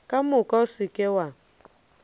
ka moka se ke wa